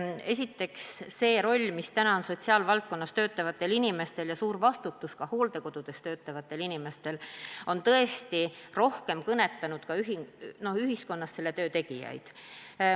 Esiteks, see roll, mis praegu on sotsiaalvaldkonnas töötavatel inimestel, seejuures ka suur vastutus, mida kannavad hooldekodudes töötavad inimesed, on tõesti ühiskonda rohkem ka kõnetanud.